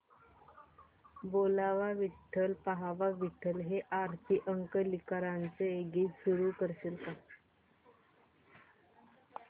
बोलावा विठ्ठल पहावा विठ्ठल हे आरती अंकलीकरांचे गीत सुरू कर